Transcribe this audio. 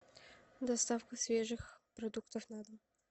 доставка свежих продуктов на дом